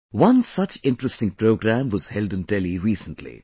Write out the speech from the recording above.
One such interesting programme was held in Delhi recently